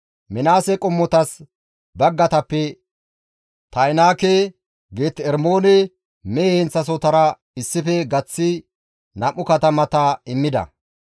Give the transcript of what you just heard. Minaase qommotas baggatappe Ta7inaake, Geet-Ermoone mehe heenththasohotara issife gaththi 2 katamata immida.